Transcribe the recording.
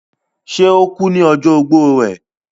ṣe, ó kú ní ọjọ́ ogbó rẹ̀?